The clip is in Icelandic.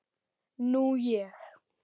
Nú ég.